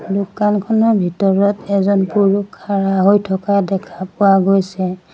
দোকানখনৰ ভিতৰত এজন পুৰুষ খাৰা হৈ থকা দেখা পোৱা গৈছে।